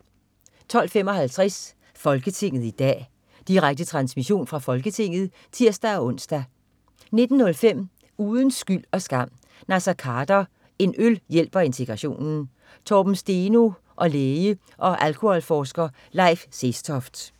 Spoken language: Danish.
12.55 Folketinget i dag. Direkte transmission fra Folketinget (tirs-ons) 19.05 Uden skyld og skam: Naser Khader. "En øl hjælper integrationen". Torben Steno og læge og alkoholforsker Leif Sestoft